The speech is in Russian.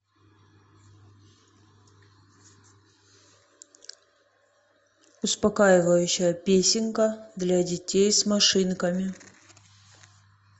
успокаивающая песенка для детей с машинками